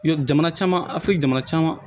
Jamana caman a fili jamana caman